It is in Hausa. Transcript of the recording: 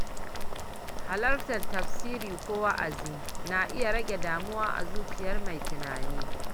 Halartar tafsiri ko wa’azi na iya rage damuwa a zuciyar mai tunani.